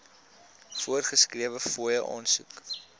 voorgeskrewe fooie aansoek